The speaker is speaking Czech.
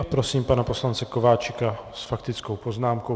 A prosím pana poslance Kováčika s faktickou poznámkou.